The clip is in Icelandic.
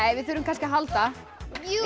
við þurfum kannski að halda við